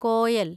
Koel